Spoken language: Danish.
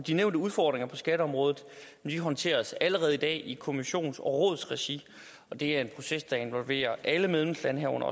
de nævnte udfordringer på skatteområdet håndteres allerede i dag i kommissionens og rådets regi og det er en proces der involverer alle medlemslande herunder